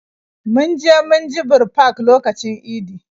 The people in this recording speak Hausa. Mun je munjibir park lokacin idi